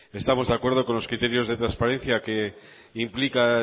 estamos de acuerdo con los criterios de transparencia que implica